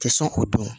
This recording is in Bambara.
Tɛ sɔn k'o dun